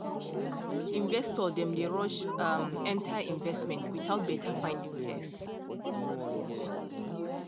investor dem dey rush um enter investment without better finding first